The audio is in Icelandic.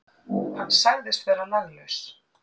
Hann sagðist vera laglaus.